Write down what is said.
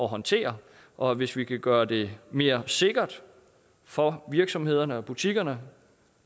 håndtere og hvis vi kan gøre det mere sikkert for virksomhederne og butikkerne